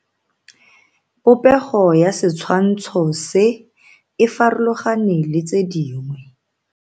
Popego ya setshwantsho se, e farologane le tse dingwe.